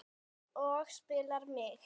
Og spyr mig